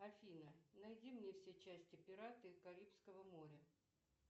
афина найди мне все части пираты карибского моря